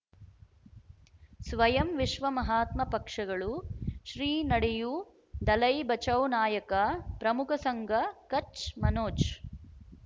ಸ್ವಯಂ ವಿಶ್ವ ಮಹಾತ್ಮ ಪಕ್ಷಗಳು ಶ್ರೀ ನಡೆಯೂ ದಲೈ ಬಚೌ ನಾಯಕ ಪ್ರಮುಖ ಸಂಘ ಕಚ್ ಮನೋಜ್